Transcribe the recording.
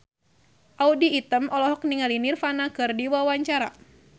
Audy Item olohok ningali Nirvana keur diwawancara